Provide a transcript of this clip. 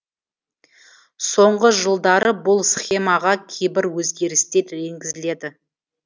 соңғы жылдары бұл схемаға кейбір өзгерістер енгізіледі